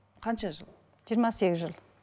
қанша жыл жиырма сегіз жыл